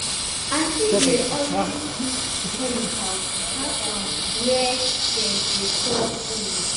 aunty dey always keep chemicals far from where dem dey store food.